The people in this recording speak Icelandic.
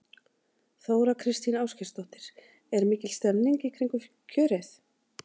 Þóra Kristín Ásgeirsdóttir: Er mikil stemning í kringum kjörið?